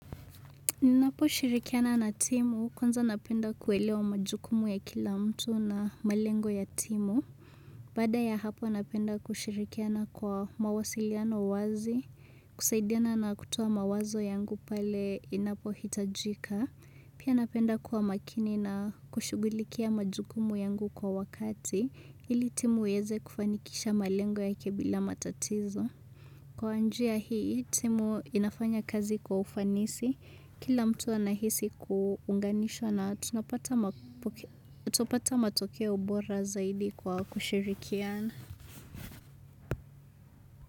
Ninapo shirikiana na timu, kwanza napenda kuelewa majukumu ya kila mtu na malengo ya timu. Baada ya hapo napenda kushirikiana kwa mawasiliano wazi, kusaidiana na kutoa mawazo yangu pale inapo hitajika. Pia napenda kuwa makini na kushugulikia majukumu yangu kwa wakati, ili timu iweze kufanikisha malengo yake bila matatizo. Kwa njia hii, timu inafanya kazi kwa ufanisi, kila mtu anahisi kuunganishwa na tunapata matokeo bora zaidi kwa kushirikiana.